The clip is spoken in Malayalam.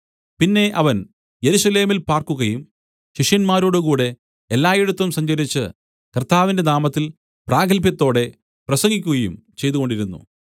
പിന്നെ അവൻ യെരൂശലേമിൽ പാർക്കുകയും ശിഷ്യന്മാരോടുകൂടെ എല്ലായിടത്തും സഞ്ചരിച്ച് കർത്താവിന്റെ നാമത്തിൽ പ്രാഗത്ഭ്യത്തോടെ പ്രസംഗിക്കുകയും ചെയ്തുകൊണ്ടിരുന്നു